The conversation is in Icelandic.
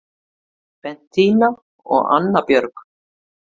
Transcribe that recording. Bentína og Anna Björg